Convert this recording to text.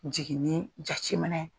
Jiginni jate minƐ